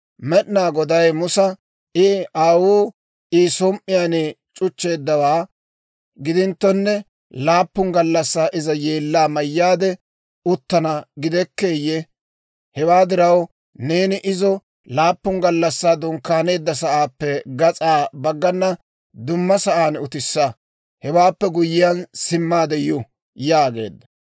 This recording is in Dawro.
Med'inaa Goday Musa, «I aawuu I som"iyaan c'uchchaa c'uchcheeddawaa gidinttonne, laappun gallassaa iza yeellaa mayyaade uttana gidekkeeyye? Hewaa diraw, neeni izo laappun gallassaa dunkkaaneedda sa'aappe gas'aa baggana dumma sa'aan utissa; hewaappe guyyiyaan, simmaade yu» yaageedda.